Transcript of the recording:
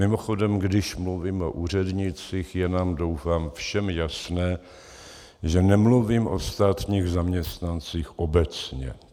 Mimochodem, když mluvím o úřednících, je nám doufám všem jasné, že nemluvím o státních zaměstnancích obecně.